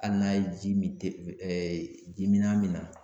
Hali n'a ye ji min ji mina min na